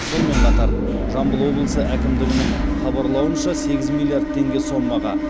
сонымен қатар жамбыл облысы әкімдігінің хабарлауынша сегіз миллиард теңге сомаға